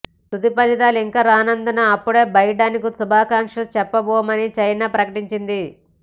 తుది ఫలితాలు ఇంకా రానందున అప్పుడే బైడెన్కు శుభాకాంక్షలు చెప్పబోమని చైనా ప్రకటించింది